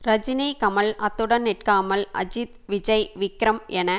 ரஜினி கமல் அத்துடன் நிற்காமல் அஜித் விஜய் விக்ரம் என